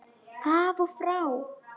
Af og frá!